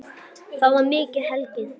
Og þá var mikið hlegið.